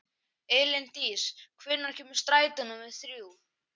Elíndís, hvenær kemur strætó númer þrjú?